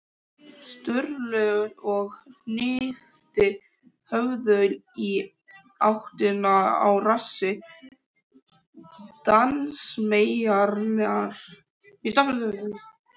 Sturlu og hnykkti höfðinu í áttina að rassi dansmeyjarinnar.